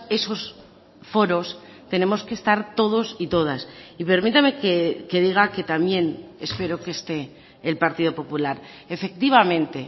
esos foros tenemos que estar todos y todas y permítame que diga que también espero que esté el partido popular efectivamente